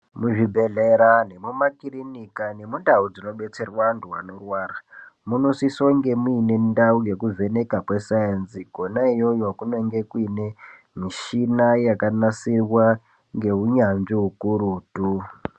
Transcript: Muzvibhehlera nemumakurinika nemundau dzinobetserwa vantu vanorwara munosisonge muine ndau yekuvheneka kwesainzi Kona iyoyo kunonge kuine mishina yakagadzirwa ngeunyanzvi ukurutu.